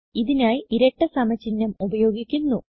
ഇതിനായി ഇരട്ട സമ ചിഹ്നം ഉപയോഗിക്കുന്നു